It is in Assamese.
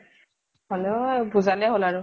হলেও বুজালে হʼল আৰু